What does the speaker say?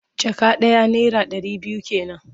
Jaka ɗaya naira ɗari biyu ke nan.